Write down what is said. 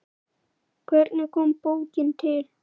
Hvernig kom bókin til?